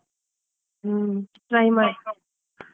ಹಾ try ಮಾಡಿ.